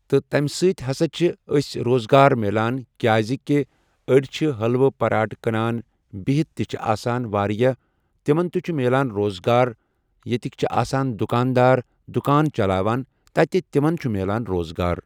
تہٕ تَمہِ سۭتۍ ہسا چھُ اَسہِ روزگار مِلان کیازِ چھِ أڈۍ چھِ حٔلوٕ پراٹ کٕنان بِہِتھ تہِ چھِ آسان واریاہ تِمن تہِ چھُ میلان روزگار ییٚتِکۍ چھِ آسان دُکان دار دُکان چلاوان تتہِ تِمن تہِ چھُ مِلان روزگار۔